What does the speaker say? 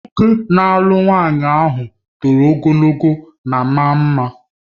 Nwoke na-alụ nwanyị ọhụrụ toro ogologo ma maa mma